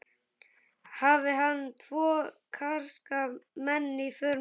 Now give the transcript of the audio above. Hafði hann tvo karska menn í för með sér.